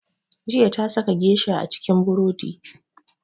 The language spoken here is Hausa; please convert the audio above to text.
Jiya ta saka geisha cikin buredi